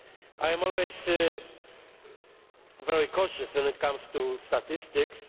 I am always very cautious when it comes to statistics.